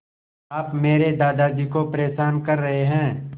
आप मेरे दादाजी को परेशान कर रहे हैं